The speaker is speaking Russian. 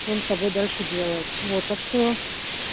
что он с тобой дальше делает вот так что